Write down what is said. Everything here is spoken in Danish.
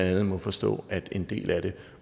andet må forstå at en del af det